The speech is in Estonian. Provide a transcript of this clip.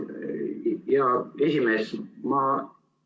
Hea esimees!